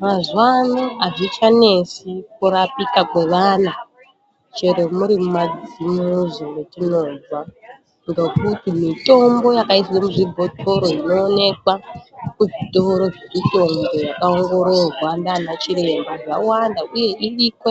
Mazuva ano hazvichanesi kurapika kweana chero muri mumadzimuzi metinobva. Ngekuti mimbo yakaiswe muzvibhedhlere inonekwa inobve kuzvitoro zvemitombo yakaongorora ngiana chiremba zvawanda, uye iriko